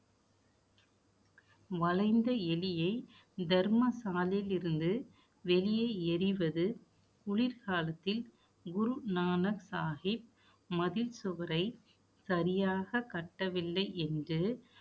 வளைந்த எலியை தர்மசாலையில் இருந்து வெளியே எறிவது, குளிர்காலத்தில் குருநானக் சாகிப் மதில் சுவரை, சரியாக கட்டவில்லை என்று